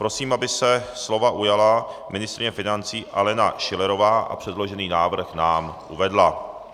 Prosím, aby se slova ujala ministryně financí Alena Schillerová a předložený návrh nám uvedla.